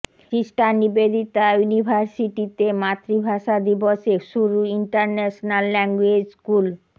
sister Nivedita ইউনিভার্সিটিতে মাতৃভাষা দিবসে শুরু ইন্টারন্যাশনাল ল্যাঙ্গুয়েজ স্কুল